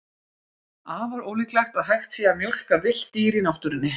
Afar ólíklegt að hægt sé að mjólka villt dýr í náttúrunni.